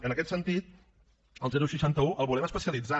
en aquest sentit el seixanta un el volem especialitzar